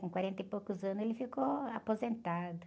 Com quarenta e poucos anos ele ficou aposentado.